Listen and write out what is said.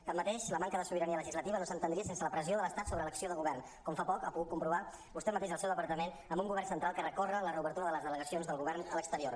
tanmateix la manca de sobirania legislativa no s’entendria sense la pressió de l’estat sobre l’acció de govern com fa poc ha pogut comprovar vostè mateix al seu departament amb un govern central que recorre la reobertura de les delegacions del govern a l’exterior